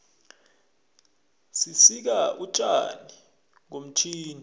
sisika utjani ngomtjhini